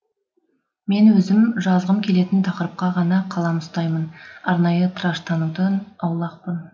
мен өзім жазғым келетін тақырыпқа ғана қалам ұстаймын арнайы тыраштанудан аулақпын